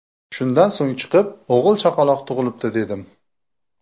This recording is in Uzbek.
Shundan so‘ng chiqib o‘g‘il chaqaloq tug‘ilibdi dedim.